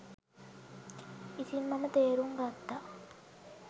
ඉතින් මම තේරුම් ගත්තා